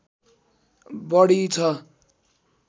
बढी छ